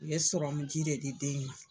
U ye ji de di den in ma.